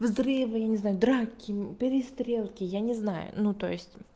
взрывы я не знаю драки перестрелки я не знаю ну то есть